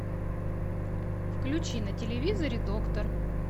включи на телевизоре доктор